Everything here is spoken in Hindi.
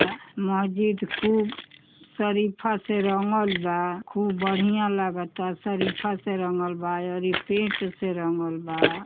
महजिद खूब सरीफा से रंगल बा। खूब बढ़िया लगता। सरीफा से रंगल बा अउरी पेंट से रंगल बा।